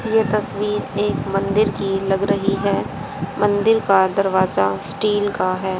यह तस्वीर एक मंदिर की लग रही है मंदिर का दरवाजा स्टील का है।